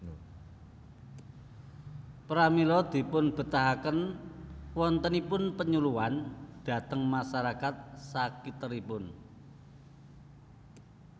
Pramila dipunbetahaken wontenipun penyuluhan dhateng masarakat sakiteripun